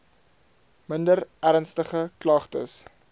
minder ernstige klagtes